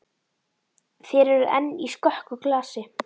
Þér eruð enn í skökku glasi.